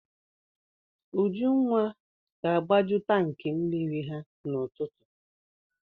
Ujunwa ga-agbaju tankị mmiri ha n'ụtụtụ.